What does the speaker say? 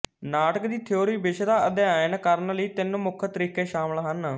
ਨਾਟਕ ਦੀ ਥਿਊਰੀ ਵਿਸ਼ੇ ਦਾ ਅਧਿਐਨ ਕਰਨ ਲਈ ਤਿੰਨ ਮੁੱਖ ਤਰੀਕੇ ਸ਼ਾਮਲ ਹਨ